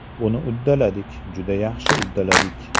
Buni uddaladik, juda yaxshi uddaladik.